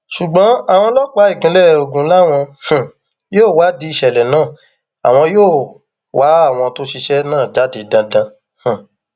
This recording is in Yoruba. ṣùgbọn àwọn ọlọpàá ìpínlẹ ogun làwọn um yóò wádìí ìṣẹlẹ náà àwọn yóò wá àwọn tó ṣiṣẹ náà jáde dandan um